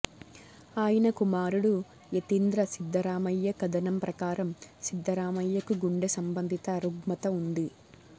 ఆయన కుమారుడు యతీంద్ర సిద్ధరామయ్య కథనం ప్రకారం సిద్దరామయ్యకు గుండె సంబంధిత రుగ్మత ఉంది